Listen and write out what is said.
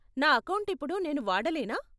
నా అకౌంట్ ఇప్పుడు నేను వాడలేనా?